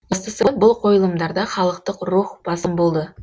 бастысы бұл қойылымдарда халықтық рух басым болды